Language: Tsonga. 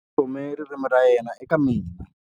U tlhome ririmi ra yena eka mina.